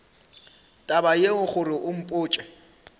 taba yeo gore o mpotše